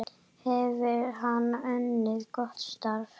Hefur hann unnið gott starf?